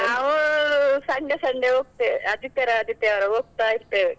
ನಾವೂ Sunday Sunday ಹೋಗ್ತೆವೆ, ಆದಿತ್ಯವಾರ ಆದಿತ್ಯವಾರ ಹೋಗ್ತಾ ಇರ್ತೆವೆ.